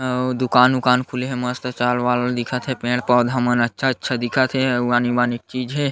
अउ दुकान उकान खुले हे मस्त चावल-वावल दिखत हे पेड़-पौधे मन अच्छा-अच्छा दिखत हे अउ आनी-बानी के चीज़ हे।